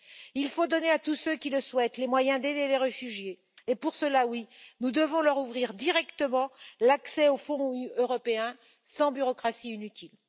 Il faut donner à tous ceux qui le souhaitent les moyens d'aider les réfugiés et pour cela, oui, nous devons leur ouvrir directement l'accès aux fonds européens, sans bureaucratie inutile.